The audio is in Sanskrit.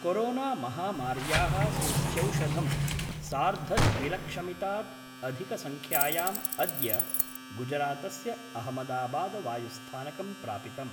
कोरोना महामार्याः सूच्यौषधं सार्धद्विलक्षमितात् अधिकसंख्यायाम् अद्य गुजरातस्य अहमदाबाद वायुस्थानकं प्रापितम्।